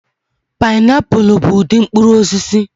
Pịnapụlụ bụ ụdị mkpụrụ osisi.